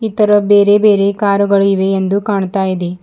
ಇತರ ಬೇರೆ ಬೇರೆ ಕಾರು ಗಳು ಇವೆ ಎಂದು ಕಾಣುತ್ತಾ ಇದೆ.